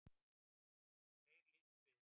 Þeir litu við.